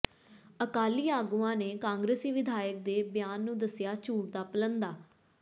ਅਕਾਲੀ ਆਗੂਆਂ ਨੇ ਕਾਂਗਰਸੀ ਵਿਧਾਇਕ ਦੇ ਬਿਆਨ ਨੂੰ ਦੱਸਿਆ ਝੂਠ ਦਾ ਪਲੰਦਾ